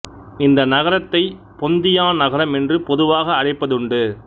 இந்த நகரத்தைப் பொந்தியான் நகரம் என்று பொதுவாக அழைப்பது உன்டு